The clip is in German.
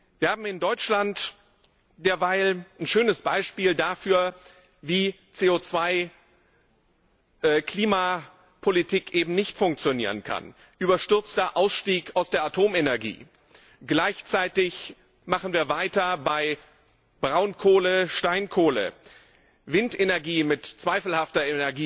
Wir haben in Deutschland derweil ein schönes Beispiel dafür, wie CO 2 Klimapolitik eben nicht funktionieren kann den überstürzten Ausstieg aus der Atomenergie. Gleichzeitig machen wir weiter bei Braunkohle und Steinkohle, Windenergie mit zweifelhafter